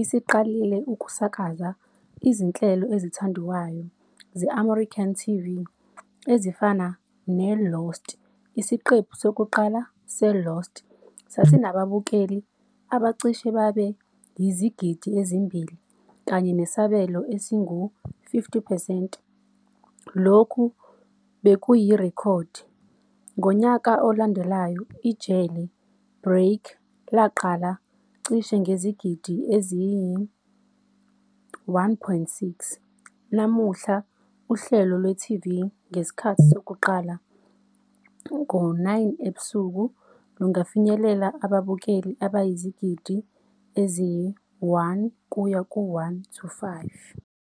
isiqalile ukusakaza izinhlelo ezithandwayo ze-American TV ezifana ne-"Lost."Isiqephu sokuqala "seLost" sasinababukeli abacishe babe yizigidi ezimbili, kanye nesabelo esingu-50 percent. Lokhu bekuyirekhodi. Ngonyaka olandelayo iJele Break laqala cishe ngezigidi eziyi-1.6. Namuhla uhlelo lwe-TV ngesikhathi sokuqala, 21:00, lungafinyelela ababukeli abayizigidi eziyi-1-1.5.